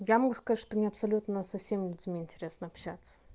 я могу сказать что мне абсолютно со всеми людьми интересно общаться